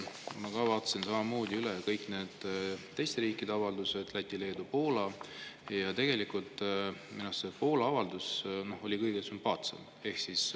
Ma ka vaatasin samamoodi üle kõik need teiste riikide avaldused – Läti, Leedu, Poola – ja tegelikult minu arust Poola avaldus oli kõige sümpaatsem.